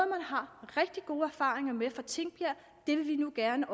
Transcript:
har rigtig gode erfaringer med fra tingbjerg det vil vi nu gerne